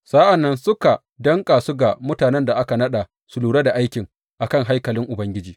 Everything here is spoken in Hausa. Sa’an nan suka danƙa su ga mutanen da aka naɗa su lura da aiki a kan haikalin Ubangiji.